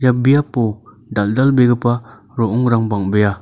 ia biapo dal·dalbegipa ro·ongrang bang·bea.